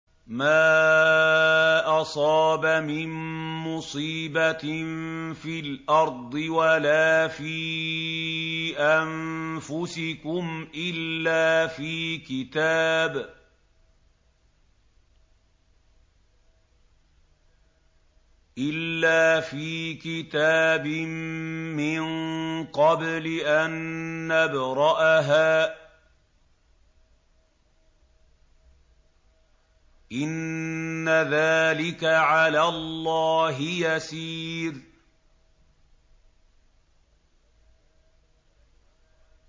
مَا أَصَابَ مِن مُّصِيبَةٍ فِي الْأَرْضِ وَلَا فِي أَنفُسِكُمْ إِلَّا فِي كِتَابٍ مِّن قَبْلِ أَن نَّبْرَأَهَا ۚ إِنَّ ذَٰلِكَ عَلَى اللَّهِ يَسِيرٌ